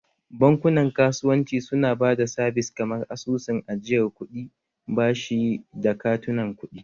Bankunan kasuwanci suna ba da sabis kamar asusun ajiyar kuɗi, bashi da katunan kuɗi